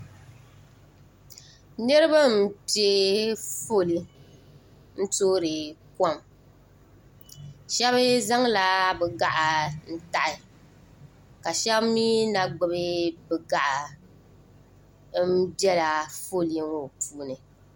Niriba m piɛ foli n toori kom sheba zaŋla bɛ gaɣa n taɣi ka sheba mee na gbibi bɛ gaɣa m bela foli ŋɔ puuni.